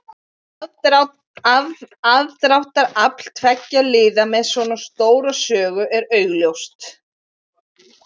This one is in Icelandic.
Aðdráttarafl tveggja liða með svona stóra sögu er augljóst.